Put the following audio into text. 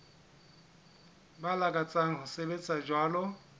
ba lakatsang ho sebetsa jwalo